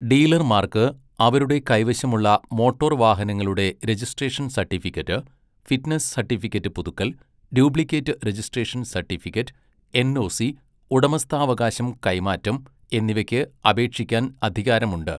ഡീലർമാർക്ക് അവരുടെ കൈവശമുള്ള മോട്ടോർ വാഹനങ്ങളുടെ രജിസ്ട്രേഷൻ സട്ടിഫിക്കറ്റ്, ഫിറ്റ്നസ് സട്ടിഫിക്കറ്റ് പുതുക്കൽ, ഡ്യൂപ്ലിക്കേറ്റ് രജിസ്ട്രേഷൻ സട്ടിഫിക്കറ്റ്, എൻഒസി, ഉടമസ്ഥാവകാശം കൈമാറ്റം എന്നിവയ്ക്ക് അപേക്ഷിക്കാൻ അധികാരമുണ്ട്.